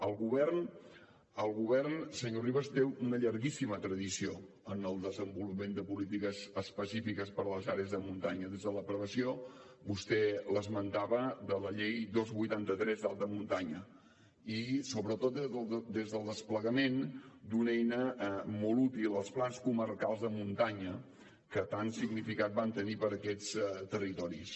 el govern senyor rivas té una llarguíssima tradició en el desenvolupament de polítiques específiques per a les àrees de muntanya des de l’aprovació vostè l’esmentava de la llei dos dinou vuitanta tres d’alta muntanya i sobretot des del desplegament d’una eina molt útil els plans comarcals de muntanya que tant significat van tenir per a aquests territoris